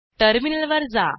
terminal वर जा